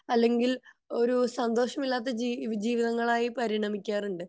അല്ലെങ്കിൽ ഒരു സന്തോഷം ഇല്ലാത്ത ജീവിതങ്ങളായി പരിണമിക്കാൻ ഉണ്ട്